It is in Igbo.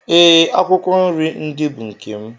Ee, akwụkwọ nrí ndị bụ nkè m